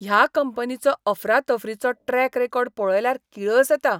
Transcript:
ह्या कंपनीचो अफरातफरीचो ट्रॅक रिकॉर्ड पळयल्यार किळस येता.